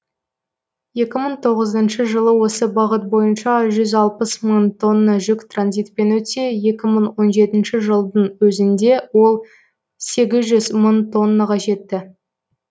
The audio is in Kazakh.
екі мың тоғызыншы жылы осы бағыт бойынша жүз алпыс мың тонна жүк транзитпен өтсе екі мың он жетінші жылдың өзінде ол сегіз жүз мың тоннаға жетті